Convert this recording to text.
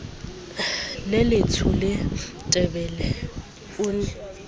le letsho letebele o ne